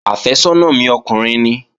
Àfẹ́sọ́nà mi ọkùnrin nìí